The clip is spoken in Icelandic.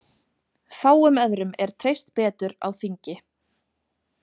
Fáum öðrum er treyst betur á þingi.